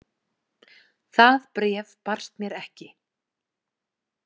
Það bréf barst mér ekki!